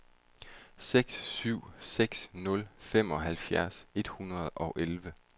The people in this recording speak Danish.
seks syv seks nul femoghalvfjerds et hundrede og elleve